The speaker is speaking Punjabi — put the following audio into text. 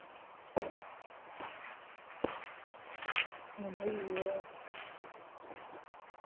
ਹੁੰਦੀ ਪਈ ਆ